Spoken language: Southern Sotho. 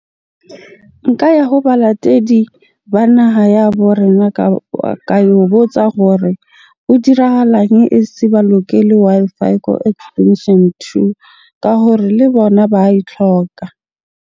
Nka ya ho balatedi ba naha ya borena ka yo botsa gore ho dirahalang e se ba lokele Wi-Fi ko extension two ka hore le bona ba e tlhoka.